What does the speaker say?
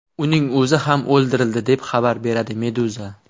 Uning o‘zi ham o‘ldirildi, deb xabar beradi Meduza.